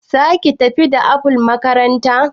zaki tafi da apple makaranta?